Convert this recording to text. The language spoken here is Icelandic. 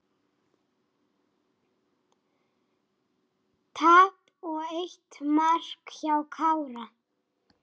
Tap og eitt mark hjá Kára